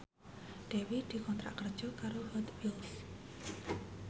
Dewi dikontrak kerja karo Hot Wheels